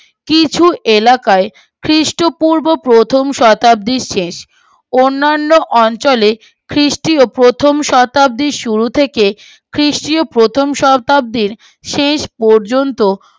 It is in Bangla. কিছু এলাকায় খ্রীষ্ট পূর্ব প্রথম শতাব্দীর শেষ অন্নান্য অঞ্চলে খ্রিস্টীয় প্রথম শতাব্দীর শুরু থেকে খ্রিস্টীয় প্রথম শতাব্দীর শেষ পর্যন্ত